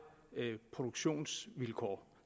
produktionsvilkår